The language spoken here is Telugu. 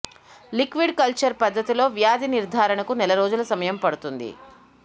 లిక్విడ్ కల్చర్ పద్ధతిలో వ్యాధి నిర్ధారణకు నెల రోజులు సమయం పడుతుంది